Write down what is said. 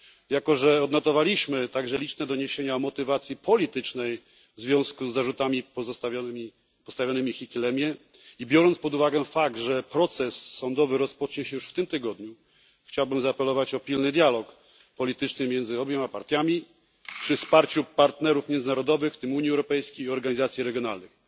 Jako że odnotowaliśmy także liczne doniesienia o motywacji politycznej w związku z zarzutami postawionymi Hichilemie, i biorąc pod uwagę fakt, że proces sądowy rozpocznie się już w tym tygodniu, chciałbym zaapelować o pilny dialog polityczny między obiema partiami przy wsparciu partnerów międzynarodowych, w tym Unii Europejskiej i organizacji regionalnych.